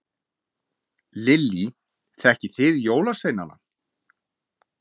Lillý: Þekkið þið jólasveinana?